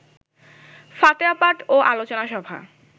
ফাতেহা পাঠ ও আলোচনা সভা